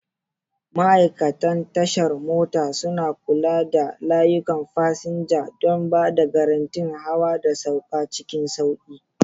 Ma'aikatan tashar mota suna kula da layukan fasinja don ba da garantin hawa da sauka cikin sauƙi.